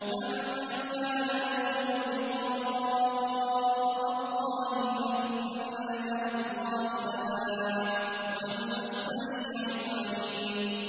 مَن كَانَ يَرْجُو لِقَاءَ اللَّهِ فَإِنَّ أَجَلَ اللَّهِ لَآتٍ ۚ وَهُوَ السَّمِيعُ الْعَلِيمُ